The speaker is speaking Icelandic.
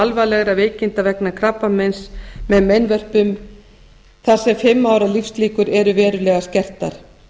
alvarlegra veikinda vegna krabbameins með meinvörpum þar sem fimm ára lífslíkur eru verulega skertar